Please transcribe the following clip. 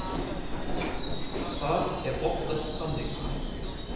Það er oftast þannig.